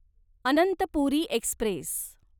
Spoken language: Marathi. अनंतपुरी एक्स्प्रेस